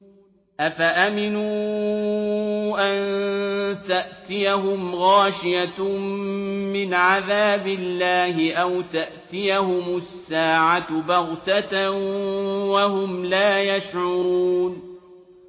أَفَأَمِنُوا أَن تَأْتِيَهُمْ غَاشِيَةٌ مِّنْ عَذَابِ اللَّهِ أَوْ تَأْتِيَهُمُ السَّاعَةُ بَغْتَةً وَهُمْ لَا يَشْعُرُونَ